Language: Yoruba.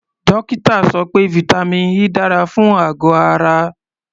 Dókítà sọ pé vitamin E dára fún àgọ̀ ara.